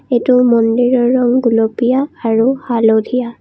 এইটো মন্দিৰৰ ৰং গুলপীয়া আৰু হালধীয়া।